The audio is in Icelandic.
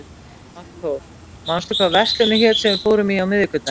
Magnþór, manstu hvað verslunin hét sem við fórum í á miðvikudaginn?